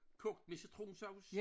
Kogt med citronsovs?